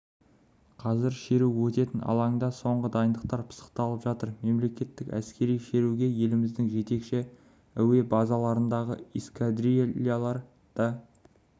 қазір шеру өтетін алаңда соңғы дайындықтар пысықталып жатыр мерекелік әскери шеруге еліміздің жетекші әуе-базаларындағы эскадрильялар да